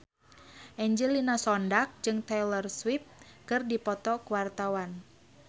Angelina Sondakh jeung Taylor Swift keur dipoto ku wartawan